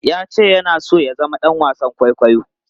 Ya ce yana so ya zama ɗan wasan kwaikwayo.